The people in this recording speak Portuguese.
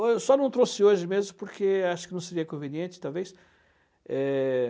Ou eu só não trouxe hoje mesmo porque acho que não seria conveniente. É...